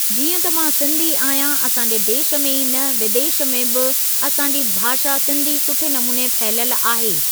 जीअं त मां सिंधी आहियां असांजे देश में ई न विदेश में बि असांजी भाषा सिंधी सुठे नमूने फहिलियल आहे।